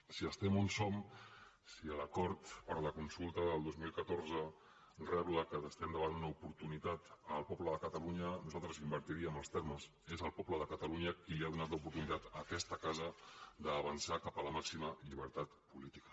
si estem on som si l’acord per la consulta del dos mil catorze rebla que ara estem davant d’una oportunitat el poble de catalunya nosaltres invertiríem els termes és el poble de catalunya qui li ha donat l’oportunitat a aquesta casa d’avançar cap a la màxima llibertat política